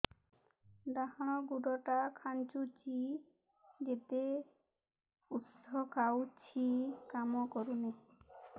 ଡାହାଣ ଗୁଡ଼ ଟା ଖାନ୍ଚୁଚି ଯେତେ ଉଷ୍ଧ ଖାଉଛି କାମ କରୁନି